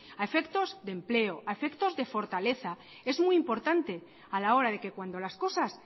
a efectos de empleo a efectos de fortaleza es muy importante a la hora de que cuando las cosas